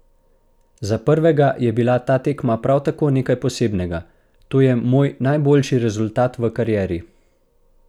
Za prvega je bila ta tekma prav tako nekaj posebnega: "To je moj najboljši rezultat v karieri.